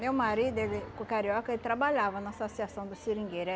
Meu marido, ele o carioca, ele trabalhava na associação dos seringueiro.